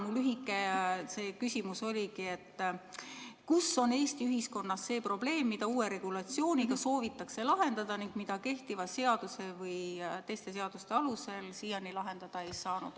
Mu lühike küsimus oligi, et kus on Eesti ühiskonnas see probleem, mida uue regulatsiooniga soovitakse lahendada ning mida kehtiva meediateenuste seaduse või teiste seaduste alusel siiani lahendada ei saanud.